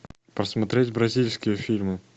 посмотреть бразильские фильмы